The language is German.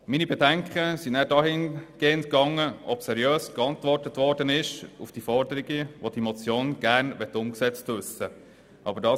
Meine Bedenken gingen dann dahin, ob die Forderungen, welche diese Motion gerne umgesetzt wissen möchte, seriös beantwortet wurden.